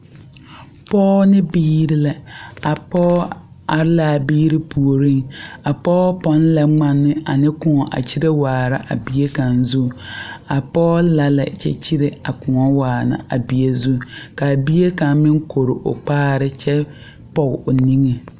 Pɔgɔ ne biire lɛ. A pɔgɔ are la a biire pooreŋ. A pɔgɔ pon lɛ ŋmane ane koɔ a kyirɛ waara a bie kang zu. A pɔgɔ la lɛ kyɛ kyirɛ a koɔ waana a bie zu. Ka a bie kang meŋ kɔre o kpaare kyɛ poge o niŋe